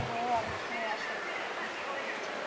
বইও অনেক সময় আসে। অনেক কিছুই আসে।